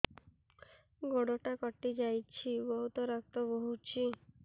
ଗୋଡ଼ଟା କଟି ଯାଇଛି ବହୁତ ରକ୍ତ ବହୁଛି